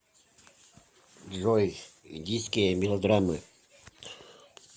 джой индийские мелодраммы